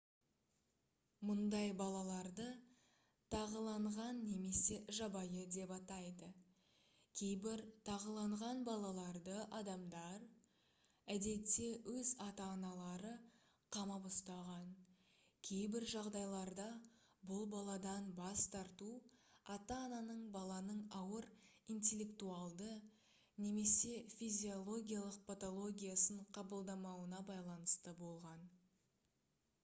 мұндай балаларды тағыланған немесе жабайы деп атайды. кейбір тағыланған балаларды адамдар әдетте өз ата-аналары қамап ұстаған; кейбір жағдайларда бұл баладан бас тарту ата-ананың баланың ауыр интеллектуалды немесе физиологиялық патологиясын қабылдамауына байланысты болған